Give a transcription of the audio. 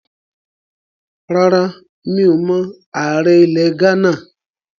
Rárá, mi ò mọ ààrẹ ilẹ̀ Ghánà